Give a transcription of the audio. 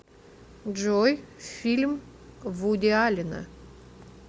джой фильм вуди аллена